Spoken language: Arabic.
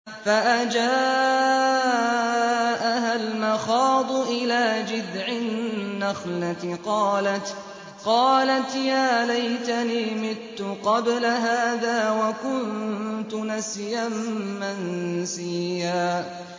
فَأَجَاءَهَا الْمَخَاضُ إِلَىٰ جِذْعِ النَّخْلَةِ قَالَتْ يَا لَيْتَنِي مِتُّ قَبْلَ هَٰذَا وَكُنتُ نَسْيًا مَّنسِيًّا